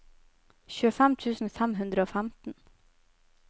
tjuefem tusen fem hundre og femten